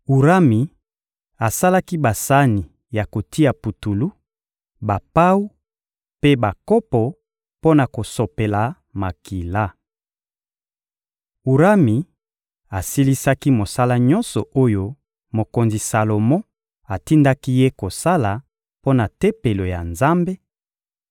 Urami asalaki basani ya kotia putulu, bapawu mpe bakopo mpo na kosopela makila. Urami asilisaki mosala nyonso oyo mokonzi Salomo atindaki ye kosala mpo na Tempelo ya Nzambe: